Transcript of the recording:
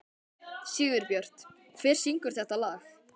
Sigurbjört, hver syngur þetta lag?